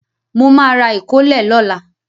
Mo ma ra ìkólẹ̀ lọ́la.